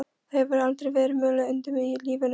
Það hefur aldrei verið mulið undir mig í lífinu.